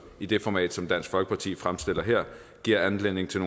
i det format som dansk folkeparti fremstiller her giver anledning til